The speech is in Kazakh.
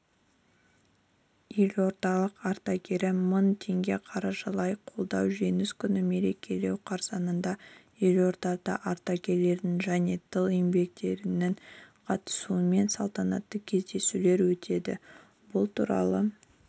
елордалық ардагері мың теңге қаржылай қолдау жеңіс күнін мерекелеу қарсаңында елордада ардагерлерінің және тыл еңбеккерлерінің қатысуымен салтанатты кездесулер өтеді бұл туралы